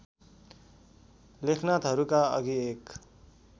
लेखनाथहरूका अघि एक